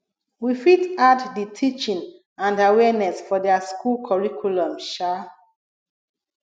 we fit add di teaching and awareness for their school curriculum um